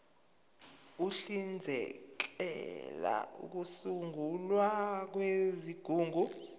uhlinzekela ukusungulwa kwezigungu